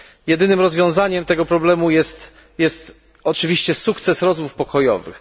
Jedynym rozwiązaniem tego problemu jest oczywiście sukces rozmów pokojowych.